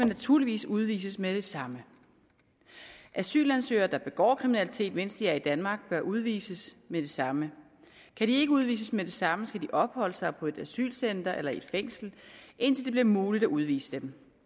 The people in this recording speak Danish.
naturligvis udvises med det samme asylansøgere der begår kriminalitet mens de er i danmark bør udvises med det samme kan de ikke udvises med det samme skal de opholde sig på et asylcenter eller i et fængsel indtil det bliver muligt at udvise dem